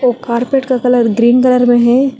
Carpet का colour green colour में है।